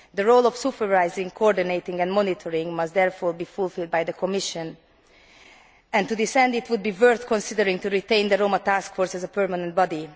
The role of supervising, coordinating and monitoring must therefore be fulfilled by the Commission and, to this end, it would be worth considering retaining the Roma task force as a permanent body.